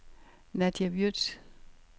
Nadja Würtz